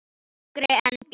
Þyngri en blý.